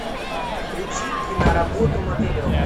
включи киноработу мотылек